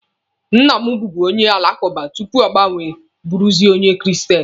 Nna m bubu onye alakụba tupu ọ gbanwe bụrụzie onye kristen.